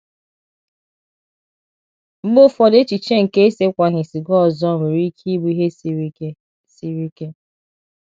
Mgbe ụfọdụ echiche nke esekwaghị siga ọzọ nwere ike ịbụ ihe siri ike siri ike.